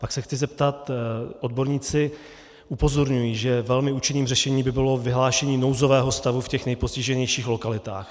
Pak se chci zeptat: Odborníci upozorňují, že velmi účinným řešením by bylo vyhlášení nouzového stavu v těch nejpostiženějších lokalitách.